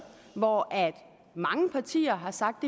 hvor mange partier har sagt